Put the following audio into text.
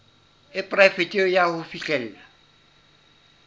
e poraefete ya ho fihlella